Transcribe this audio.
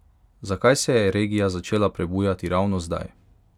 Zakaj se je regija začela prebujati ravno zdaj?